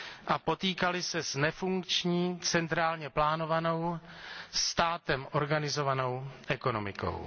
a potýkali se s nefunkční centrálně plánovanou, státem organizovanou ekonomikou.